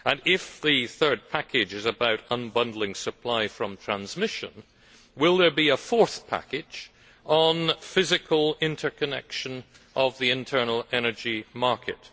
If the Third Package is about unbundling supply from transmission, will there be a fourth package on physical interconnection of the internal energy market?